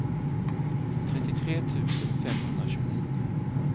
trettiotre tusen femhundratjugonio